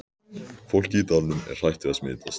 Fólkið í dalnum er hrætt við að smitast.